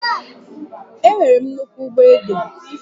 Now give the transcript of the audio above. Enwere m nnukwu ugbo ede